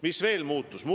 Mis veel muutus?